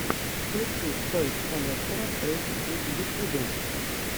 включи тойс коллектора эйч ди в ютьюбе